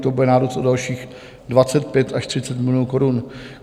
To bude nárůst o dalších 25 až 30 milionů korun.